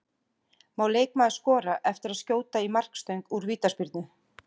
Má leikmaður skora eftir að skjóta í markstöng úr vítaspyrnu?